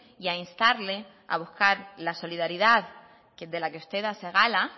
y a instarle a buscar la solidaridad de la que usted hace gala